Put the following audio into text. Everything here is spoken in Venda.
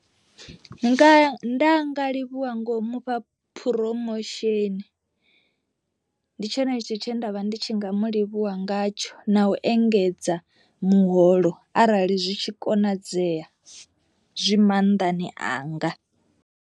Nga nda nga livhuwa ngo mufha phuromosheni, ndi tshone tshithu tshe ndavha ndi tshi nga mu livhuwa ngatsho na u engedza muholo arali zwi tshi konadzea zwi maanḓani anga.